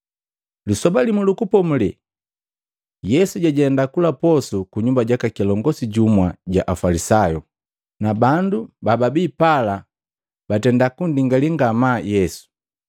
Lisoba limu lu Kupomulela, Yesu jajenda kula posu ku nyumba jaka kilongosi jumu jwa Afalisayu, na bandu bababi pala batenda kunndingalaki ngamaa Yesu.